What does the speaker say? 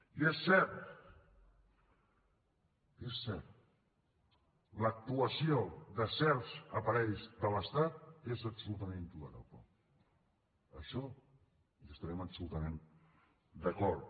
i és cert és cert l’actuació de certs aparells de l’estat és absolutament intolerable en això hi estarem absolutament d’acord